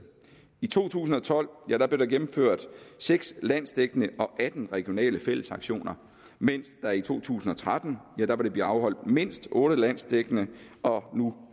i to tusind og tolv blev der gennemført seks landsdækkende og atten regionale fællesaktioner mens der i to tusind og tretten vil blive afholdt mindst otte landsdækkende og